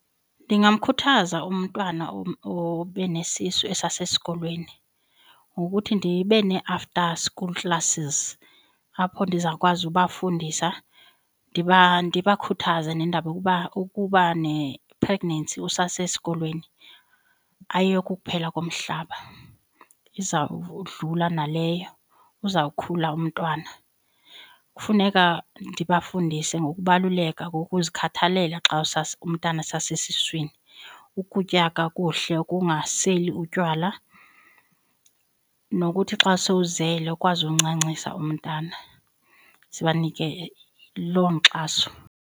Ndingamkhuthaza umntwana obe nesisu esasesikolweni ngokuthi ndibe nee-after school classes apho ndizawukwazi ubafundisa ndibakhuthaze nendaba yokuba ukuba ne-pregnancy usasesikolweni ayokukuphela komhlaba, izawudlula naleyo, uzawukhula umntwana. Kufuneka ndibafundise ngokubaluleka kokuzikhathalela xa umntana esasesiswini, ukutya kakuhle, ukungaseli utywala nokuthi xa sowuzele ukwazi uncancisa umntana sibanike loo nkxaso.